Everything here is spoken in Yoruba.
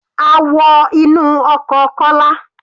A wọ inú ọkọ̀ Kọ́lá.